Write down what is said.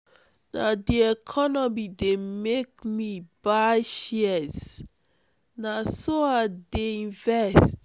na di economy dey make me buy shares na so i dey invest.